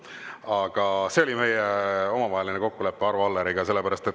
Aga see oli meie omavaheline kokkulepe Arvo Alleriga.